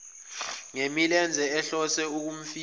ngemilenze ehlose ukumfihla